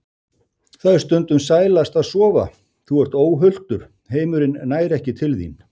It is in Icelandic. Það er stundum sælast að sofa, þú ert óhultur, heimurinn nær ekki til þín.